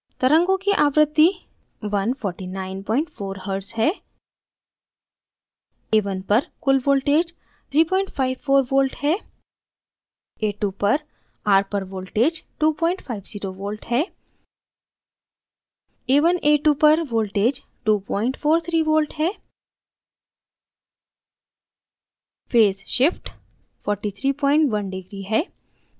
तरंगों की आवृत्ति 1494hz है